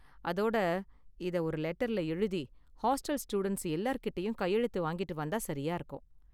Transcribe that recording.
அதோட இத ஒரு லெட்டர்ல எழுதி ஹாஸ்டல் ஸ்டூடண்ட்ஸ் எல்லார்கிட்டயும் கையெழுத்து வாங்கிட்டு வந்தா சரியா இருக்கும்.